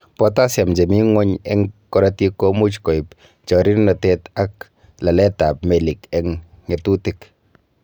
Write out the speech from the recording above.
Potassium chemi ngweny en korotik komuch koib chorirnotet ak laletab melik ak ng'etutik.